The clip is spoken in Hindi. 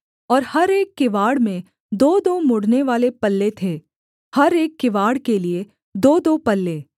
और हर एक किवाड़ में दोदो मुड़नेवाले पल्ले थे हर एक किवाड़ के लिये दोदो पल्ले